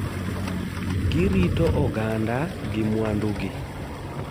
Gi rito oganda gi mwandu gi.